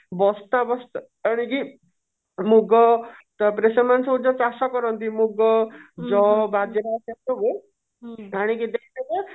ବସ୍ତା ବସ୍ତା ଆଣିକି ମୁଗ ତାପରେ ସେମାନେ ସବୁ ନିଜେ ଚାଷ କରନ୍ତି ମୁଗ ଯଅ ବଜରା ସେସବୁ ଆଣିକି ଦେଇଦେବେ